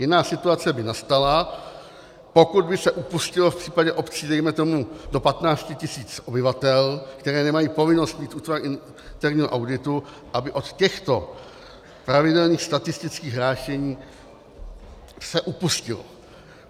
Jiná situace by nastala, pokud by se upustilo v případě obcí dejme tomu do 15 tisíc obyvatel, které nemají povinnost mít útvar interního auditu, aby od těchto pravidelných statistických hlášení se upustilo.